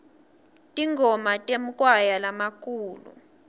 tingoma temakwaya lamakhulu